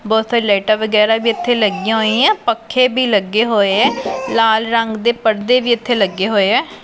ਬਹੁਤ ਸਾਰੀ ਲਾਈਟਾਂ ਵਗੈਰਾ ਵੀ ਇੱਥੇ ਲੱਗੀਆਂ ਹੋਈਐਂ ਪੱਖੇ ਭੀ ਲੱਗੇ ਹੋਏ ਐ ਲਾਲ ਰੰਗ ਦੇ ਪਰਦੇ ਵੀ ਇੱਥੇ ਲੱਗੇ ਹੋਏ ਐ।